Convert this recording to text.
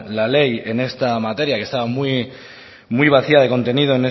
la ley en esta materia que estaba muy vacía de contenido